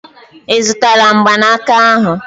I zutara mgbanaka ahu?